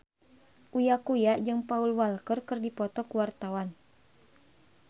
Uya Kuya jeung Paul Walker keur dipoto ku wartawan